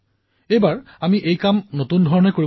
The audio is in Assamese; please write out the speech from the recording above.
তেওঁলোকৰ সন্মানৰ কাৰ্যসূচী সমগ্ৰ দেশতে পালন হওক